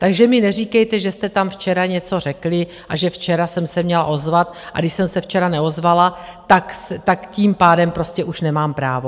Takže mi neříkejte, že jste tam včera něco řekli a že včera jsem se měla ozvat, a když jsem se včera neozvala, tak tím pádem prostě už nemám právo.